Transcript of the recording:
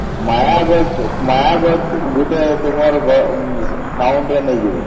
ମା ମା ଗୋଟେ ଗୋଟେ ତମର town ରେ ନେଇଯିବା